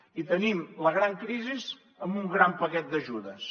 i tenim la gran crisi amb un gran paquet d’ajudes